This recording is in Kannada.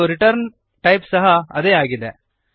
ಮತ್ತು ರಿಟರ್ನ್ ಟೈಪ್ ಸಹ ಅದೇ ಆಗಿದೆ